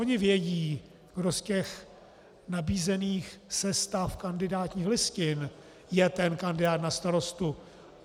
Oni vědí, kdo z těch nabízených sestav kandidátních listin je ten kandidát na starostu.